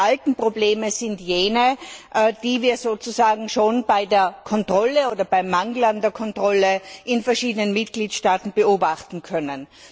Die alten Probleme sind jene, die wir sozusagen schon bei der Kontrolle oder beim Mangel an Kontrolle in verschiedenen Mitgliedstaaten beobachten können.